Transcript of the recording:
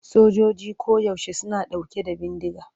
Sojojoji koyaushe suna ɗauke da bindiga.